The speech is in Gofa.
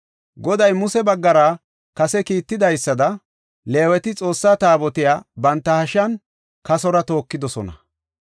Goday Muse baggara kase kiitidaysada Leeweti Xoossaa Taabotiya banta hashiyan kasora tookidosona.